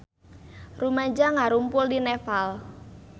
Rumaja ngarumpul di Nepal